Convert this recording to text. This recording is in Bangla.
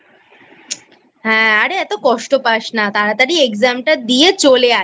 হ্যাঁ আরে এত কষ্ট পাস না তাড়াতাড়ি Exam টা দিয়ে চলে আয়।